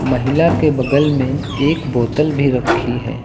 महिला के बगल में एक बोतल भी रखी है।